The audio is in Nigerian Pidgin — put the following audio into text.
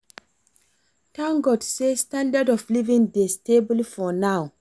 Thank God say standard of living dey stable for now